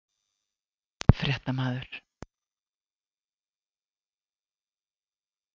Fréttamaður: Kom frávísunin á óvart?